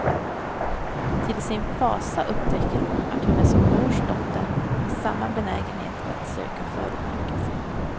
Till sin fasa upptäcker hon att hon är sin mors dotter, med samma benägenhet att söka förödmjukelsen.